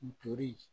Tori